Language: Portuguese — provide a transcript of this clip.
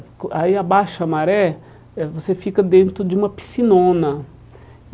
Aí abaixa a maré, eh você fica dentro de uma piscinona.